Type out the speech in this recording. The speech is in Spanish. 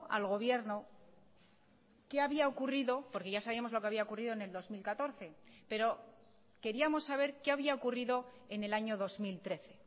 al gobierno qué había ocurrido porque ya sabíamos lo que había ocurrido en el dos mil catorce pero queríamos saber qué había ocurrido en el año dos mil trece